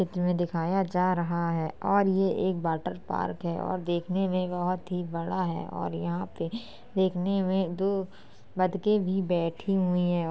इसमें दिखाया जा रहा है और ये एक वॉटर पार्क है और देखने में बहुत ही बड़ा है और यहाँ पे देखने में दो बत्तके भी बैठी हुई हैं।